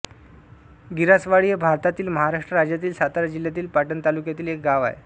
गिरासवाडी हे भारतातील महाराष्ट्र राज्यातील सातारा जिल्ह्यातील पाटण तालुक्यातील एक गाव आहे